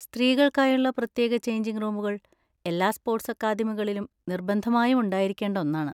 സ്ത്രീകൾക്കായുള്ള പ്രത്യേക ചെയ്ഞ്ചിങ് റൂമുകൾ എല്ലാ സ്പോർട്സ് അക്കാദമികളിലും നിർബന്ധമായും ഉണ്ടായിരിക്കേണ്ട ഒന്നാണ്.